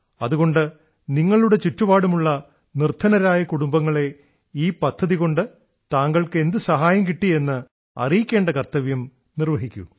അതുകൊണ്ട് നിങ്ങളുടെ ചുറ്റുപാടുമുള്ള നിർദ്ധനരായ കുടുംബങ്ങളെ ഈ പദ്ധതികൊണ്ട് താങ്കൾക്ക് എന്തു സഹായം കിട്ടി എന്ന് അറിയിക്കേണ്ട കർത്തവ്യം നിർവ്വഹിക്കൂ